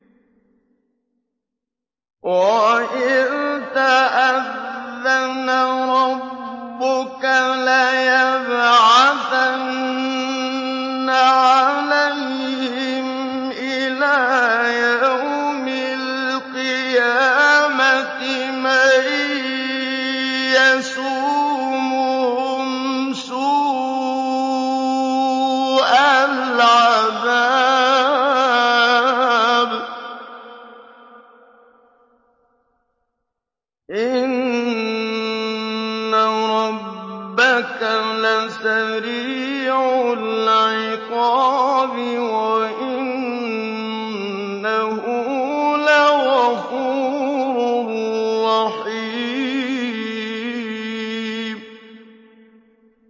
وَإِذْ تَأَذَّنَ رَبُّكَ لَيَبْعَثَنَّ عَلَيْهِمْ إِلَىٰ يَوْمِ الْقِيَامَةِ مَن يَسُومُهُمْ سُوءَ الْعَذَابِ ۗ إِنَّ رَبَّكَ لَسَرِيعُ الْعِقَابِ ۖ وَإِنَّهُ لَغَفُورٌ رَّحِيمٌ